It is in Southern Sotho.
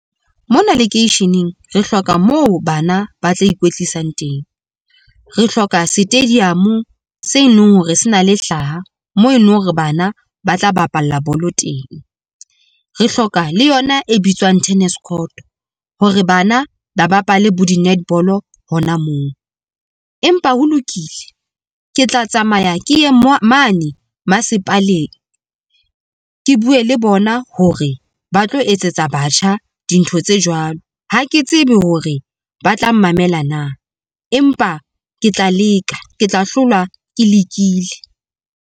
Mona lekeisheneng re hloka moo bana ba tla ikwetlisang teng, re hloka stadium se eleng hore se na le hlaha mo eno hore bana ba tla bapala bolo teng. Re hloka le yona e bitswang tennis court hore bana ba bapale bo di-netball hona moo, empa ho lokile. Ke tla tsamaya ke ye mane masepaleng, ke bue le bona hore ba tlo etsetsa batjha dintho tse jwalo ha ke tsebe hore ba tla mmamela na. Empa ke tla leka, ke tla hlolwa ke lekile.